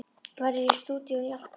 Verður í stúdíóinu í allt kvöld.